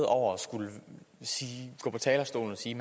over at skulle gå på talerstolen og sige